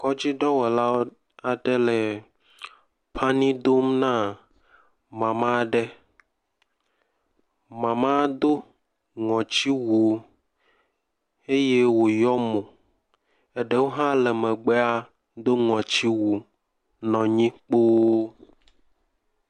Kɔdzidɔwɔla aɖe le pani dom na mama aɖe. Mama do ŋutiwui eye woyɔ mo. Eɖewo hã le megbe do ŋutiwu nɔ anyi kpoo.